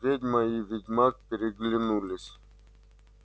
ведьма и ведьмак переглянулись